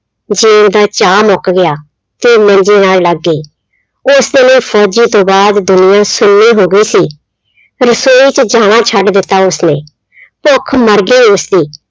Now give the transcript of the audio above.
ਜਿਉਣ ਦਾ ਚਾਅ ਮੁੱਕ ਗਿਆ, ਤੇ ਮੰਜੇ ਨਾਲ ਲੱਗ ਗਈ, ਉਸ ਦੇ ਲਈ ਫ਼ੋਜ਼ੀ ਤੋਂ ਬਾਅਦ ਦੁਨੀਆਂ ਸੁੰਨੀ ਹੋ ਗਈ ਸੀ, ਰਸੋਈ 'ਚ ਜਾਣਾ ਛੱਡ ਦਿੱਤਾ ਉਸਨੇ ਭੁੱਖ ਮਰ ਗਈ ਉਸਦੀ।